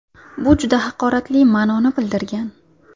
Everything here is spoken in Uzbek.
Bu juda haqoratli ma’noni bildirgan.